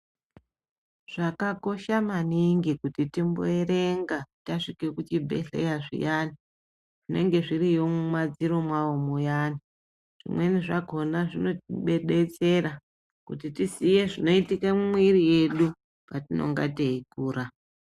Zvakakosha maningi kuti timboerenga tasvike muzvibhedhlera zviyani zvinenge zviriyo muma dziro mwowo muyani zvimweni zvakona zvinotidetsera kuti tizoye zvinoitike mumuviri mwedu patinenge teyi kura.